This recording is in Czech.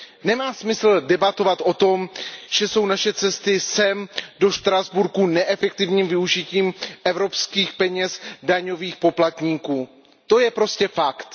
Nemá smysl debatovat o tom, že jsou naše cesty sem do Štrasburku neefektivním využitím evropských peněz daňových poplatníků. To je prostě fakt.